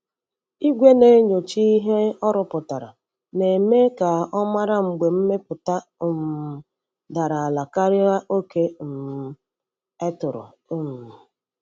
Igwe na-enyocha ihe o rụpụtara na-eme ka ọ mara mgbe mmepụta um dara ala karịa oke um e tụrụ. um